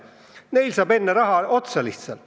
Neil saab enne raha lihtsalt otsa.